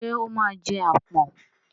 Ṣé ó máa jẹ àpọ̀n?